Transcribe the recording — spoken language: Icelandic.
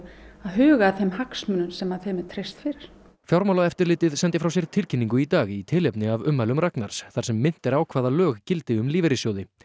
að huga að þeim hagsmunum sem þeim er treyst fyrir fjármálaeftirlitið sendi frá sér tilkynningu í dag í tilefni af ummælum Ragnars þar sem minnt er á hvaða lög gildi um lífeyrissjóði